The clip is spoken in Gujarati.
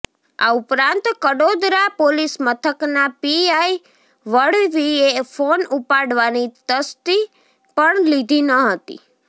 આ ઉપરાંત કડોદરા પોલીસ મથકના પીઆઇ વળવીએ ફોન ઉપાડવાની તસ્દી પણ લીધી ન હતી